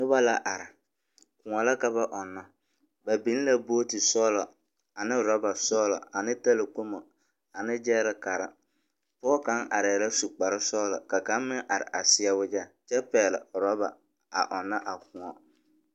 Noba la are, kõͻ la ka ba ͻnnͻ. Ba biŋe la booti sͻgelͻ ane orͻba sͻgelͻ ane talakpomo ane gyԑԑrekare. Pͻge kaŋa arԑԑ la su kpare sͻgelͻ ka kaŋ meŋ are a seԑ wagyԑ kyԑ pԑgele orͻba a ͻnnͻ a kõͻ.